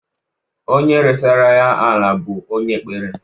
Onye resara ya ala bụ onye ekpere.